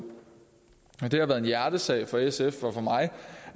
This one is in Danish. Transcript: det har været en hjertesag for sf og for mig